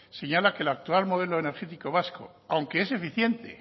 señala que el actual modelo energético vasco aunque es eficiente